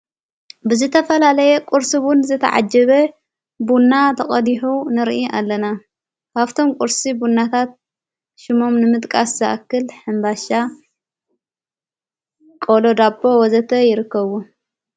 ብዝተፈላለየ ቊርስ ቡን ዘተዓጅበ ቡና ተቐዲሑ ንርኢ ኣለና ሃብቶም ቊርሲ ቡናታት ሹሞም ንምጥቃ ሰኣክል ሕምባሻ ቆሎ ዳቦ ወዘተ ይርከቡ::